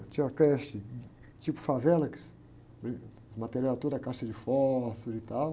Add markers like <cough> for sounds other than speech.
Tinha creche tipo favela, que, <unintelligible> os material era tudo a caixa de fósforo e tal.